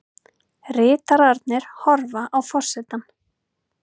Ritararnir horfa á forsetann.